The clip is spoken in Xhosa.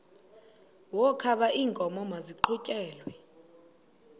wokaba iinkomo maziqhutyelwe